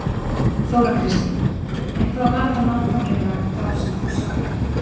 Þóra Kristín: En hvað var það nákvæmlega þá sem þú sagðir?